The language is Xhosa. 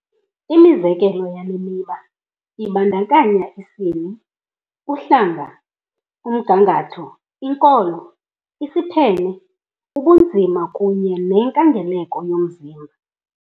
Imizekelo yale miba ibandakanya isini, uhlanga, umgangatho, inkolo, isiphene, ubunzima kunye nenkangeleko yomzimba .